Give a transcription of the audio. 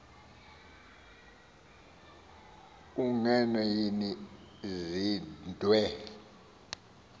ungenwe yini zwide